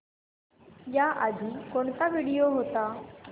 याआधी कोणता व्हिडिओ होता